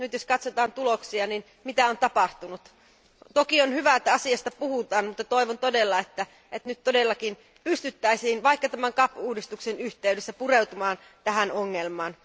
Nyt jos katsotaan tuloksia, niin mitä on tapahtunut? Toki on hyvä, että asiasta puhutaan, mutta toivon todella, että nyt todellakin pystyttäisiin vaikka tämän CAP uudistuksen yhteydessä pureutumaan tähän ongelmaan.